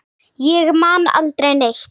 Ég man aldrei neitt.